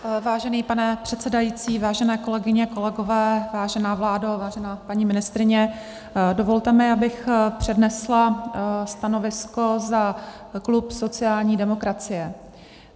Vážený pane předsedající, vážené kolegyně, kolegové, vážená vládo, vážená paní ministryně, dovolte mi, abych přednesla stanovisko za klub sociální demokracie.